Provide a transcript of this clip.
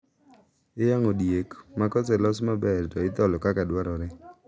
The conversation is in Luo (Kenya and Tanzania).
Iyang`o diek ma koselos maber to itholo kaka dwarore.